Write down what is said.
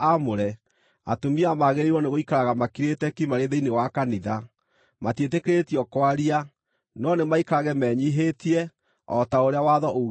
atumia magĩrĩirwo nĩgũikaraga makirĩte ki marĩ thĩinĩ wa kanitha. Matiĩtĩkĩrĩtio kwaria, no nĩmaikarage menyiihĩtie, o ta ũrĩa Watho uugĩte.